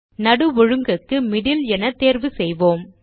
நடு ஒழுங்குக்கு மிடில் என தேர்வு செய்வோம்